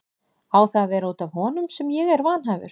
Á það að vera út af honum sem ég er vanhæfur?